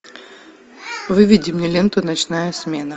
выведи мне ленту ночная смена